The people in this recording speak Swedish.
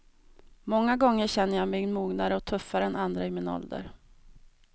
Många gånger känner jag mig mognare och tuffare än andra i min ålder.